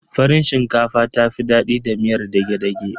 Farin shinkafa ta fi daɗi da miyar dage-dage.